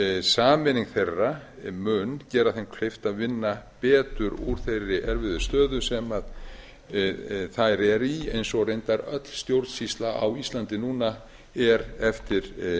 sameining þeirra mun gera þeim kleift að vinna betur úr þeirri erfiðu stöðu sem þær eru í eins og reyndar öll stjórnsýsla á íslandi núna er eftir